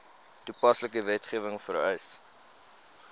toepaslike wetgewing vereis